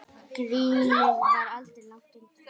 Grínið var aldrei langt undan.